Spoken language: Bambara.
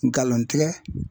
Galontigɛ